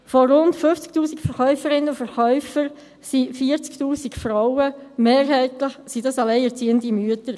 Von rund 50 000 Verkäuferinnen und Verkäufern sind 40 000 Frauen mehrheitlich alleinerziehende Mütter.